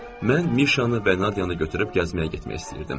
Mən Mirşanı və Nadyanı götürüb gəzməyə getmək istəyirdim.